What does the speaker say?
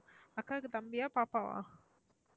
அக்காக்கு தம்பியா பாப்பாவா?